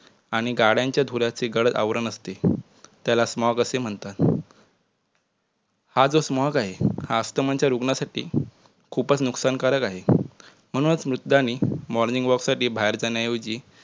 आणि गाडयांच्या धुरांचे गळ आवरण असते त्याला smoke असे म्हणतात. हा जो smoke आहे या अस्थमाच्या रुग्णांसाठी खूपच नुकसानकारक आहे. म्हणूनच वृद्धांनी morning walk साठी बाहेर जाण्याऐवजी